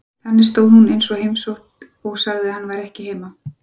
Þannig stóð hún eins og heimótt og sagði að hann væri ekki heima.